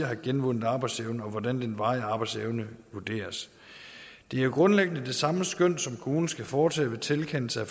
have genvundet arbejdsevnen og hvordan den varige arbejdsevne vurderes det er grundlæggende det samme skøn som kommunen skal foretage ved tilkendelse af